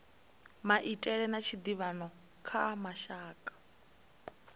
maitele a tshiḓivhano kha mashaka